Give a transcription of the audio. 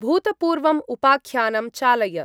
भूतपूर्वम् उपाख्यानं चालय।